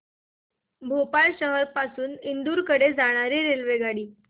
भोपाळ शहर पासून इंदूर कडे जाणारी रेल्वेगाडी